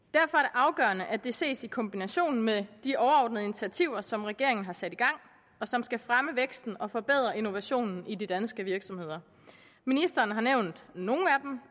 afgørende at det ses i kombination med de overordnede initiativer som regeringen har sat i gang og som skal fremme væksten og forbedre innovationen i de danske virksomheder ministeren har nævnt nogle